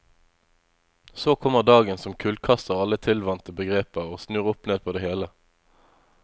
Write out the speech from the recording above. Så kommer dagen som kullkaster alle tilvante begreper og snur opp ned på det hele.